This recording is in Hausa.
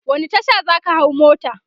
wani Tasha zaka hau mota?